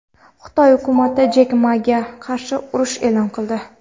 Xitoy hukumati Jek Maga qarshi urush e’lon qildi.